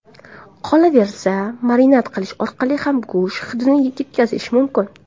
Qolaversa, marinad qilish orqali ham go‘sht hidini ketkazish mumkin.